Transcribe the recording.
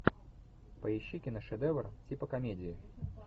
поищи киношедевр типа комедии